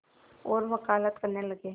और वक़ालत करने लगे